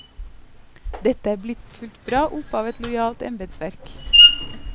Dette er blitt fulgt bra opp av et lojalt embedsverk.